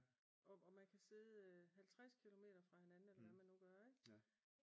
Og man kan sidde halvtreds kilometer fra hinanden eller hvad man nu gør ik?